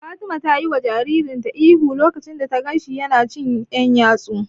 Fatima ta yiwa jaririn ihu lokacin da ta ganshi yana cin ƴan yatsu.